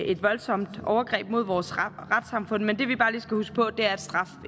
et voldsomt overgreb mod vores retssamfund men det vi bare lige skal huske på er at straf